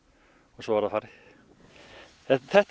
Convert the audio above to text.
svo verður þetta